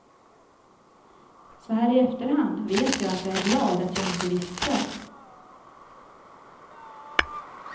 Så här i efterhand vet jag att jag är glad att jag inte visste.